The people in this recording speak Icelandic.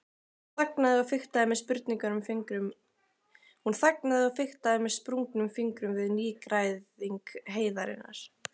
Hún þagnaði og fiktaði með sprungnum fingrum við nýgræðing heiðarinnar.